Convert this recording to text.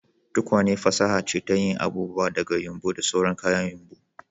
Tukwane fasaha ce ta yin abubuwa daga yumbu da sauran kayan yumbu